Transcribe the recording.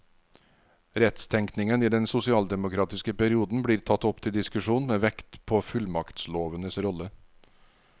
Rettstenkningen i den sosialdemokratiske perioden blir tatt opp til diskusjon med vekt på fullmaktslovenes rolle.